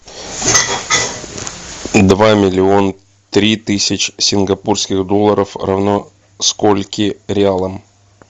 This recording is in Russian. два миллиона три тысячи сингапурских долларов равно скольки реалам